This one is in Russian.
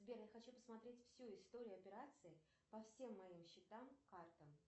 сбер я хочу посмотреть всю историю операций по всем моим счетам картам